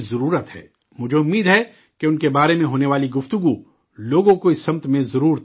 مجھے امید ہے کہ ان کے بارے میں ہونے والی گفتگو لوگوں کو اس سمت میں ضرور متوجہ کرے گی